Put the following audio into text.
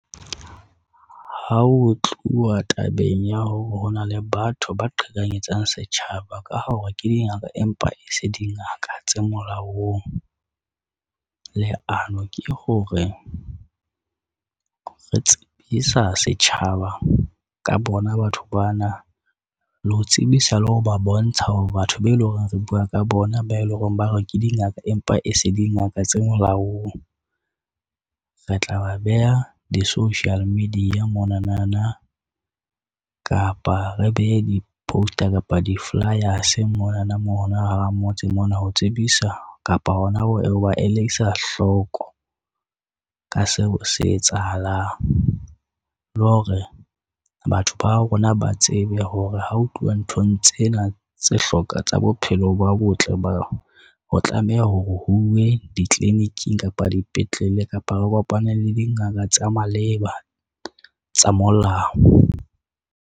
Ha ho tluwa tabeng ya hore hona le batho ba qhekanyetsang setjhaba ka hore ke dingaka empa e se dingaka tse molaong, leano ke hore re tsebisa setjhaba ka bona, batho bana le ho tsebisa le ho ba bontsha hore batho be lo reng re bua ka bona ba e leng hore ba re ke dingaka empa e se di ngaka tse molaong. Re tla ba beha di-social media mona na na kapa re behe di-poster, kapa di-flyers mona na moo hona hara motse mona, ho tsebisa kapa hona ho ba elisa hloko ka seo se etsahalang. Le hore batho ba rona ba tsebe hore ha o tluwa nthong tsena tse hloka tsa bophelo bo botle, ba ho tlameha hore huwe ditliliniki kapa dipetlele kapa re kopane le dingaka tsa maleba tsa molao.